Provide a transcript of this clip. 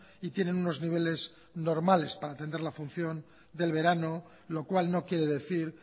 y tienen unos niveles normales para entender la función del verano lo cual no quiere decir